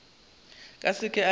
ka seke a ba a